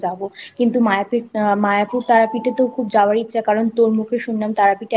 যাবো কিন্তু মায়াপুর তারাপীঠে তো খুব যাওয়ার ইচ্ছা কারণ তোর মুখে শুনলাম তারাপীঠে